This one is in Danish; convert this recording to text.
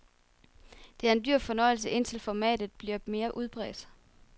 Det er en dyr fornøjelse, indtil formatet bliver mere udbredt.